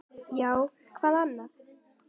Já, hvað annað?